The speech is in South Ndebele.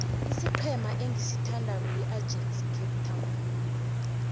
isiqhema engisithandako yiajax cape town